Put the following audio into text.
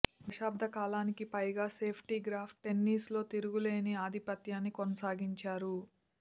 దశాబ్ధ కాలానికి పైగా Steffi Graf టెన్నీస్లో తిరుగులేని ఆధిపత్యాన్ని కొనసాగించారు